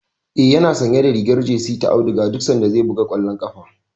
Eh, yana sanya rigar jesi ta auduga duk sanda zai buga kwallon ƙafa.